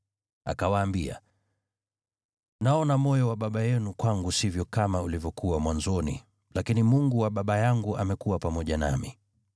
Akawaambia, “Naona moyo wa baba yenu kwangu sivyo kama ulivyokuwa mwanzoni, lakini Mungu wa baba yangu amekuwa pamoja nami.